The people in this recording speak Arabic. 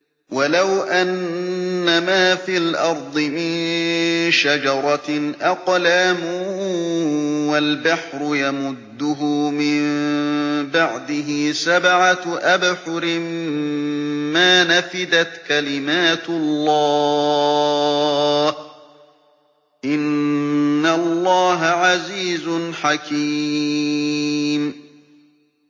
وَلَوْ أَنَّمَا فِي الْأَرْضِ مِن شَجَرَةٍ أَقْلَامٌ وَالْبَحْرُ يَمُدُّهُ مِن بَعْدِهِ سَبْعَةُ أَبْحُرٍ مَّا نَفِدَتْ كَلِمَاتُ اللَّهِ ۗ إِنَّ اللَّهَ عَزِيزٌ حَكِيمٌ